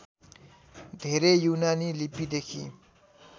धेरै यूनानी लिपिदेखि